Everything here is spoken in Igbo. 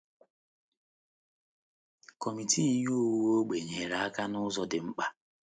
Kọmitii Ihe Owuwu Ógbè nyere aka n’ụzọ dị mkpa.